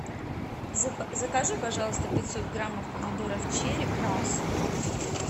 закажи пожалуйста пятьсот граммов помидоров черри красных